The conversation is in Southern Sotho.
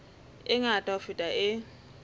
e ngata ho feta e